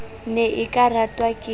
ne e ka ratwa ke